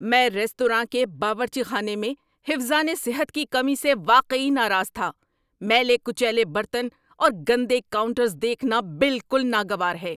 میں ریستوراں کے باورچی خانے میں حفظان صحت کی کمی سے واقعی ناراض تھا۔ میلے کچیلے برتن اور گندے کاؤنٹرز دیکھنا بالکل ناگوار ہے۔